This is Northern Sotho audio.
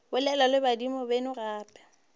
bolela le badimo beno gape